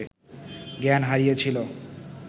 জ্ঞান হারিয়েছিল